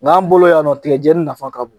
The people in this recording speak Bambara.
Ŋ'an bolo yan nɔ tigɛjɛni nafa ka bon.